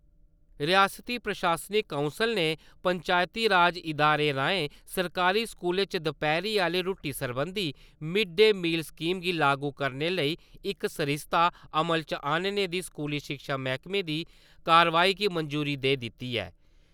रिआसती प्रशासनक काउंसल ने पंचायती राज इदारें राएं सरकारी स्कूलें च दपैह्‌री आह्ली रूट्टी सरबंधी मिड-डे मील स्कीम गी लागू करने लेई इक सरिस्ता अमल च आह्नने दी स्कूली शिक्षा मैह्कमे दी कार्रवाई गी मंजूरी देई दित्ती ऐ।